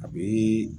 A bɛ